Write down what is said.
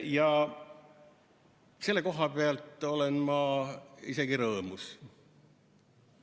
Ja selle koha pealt olen ma isegi rõõmus.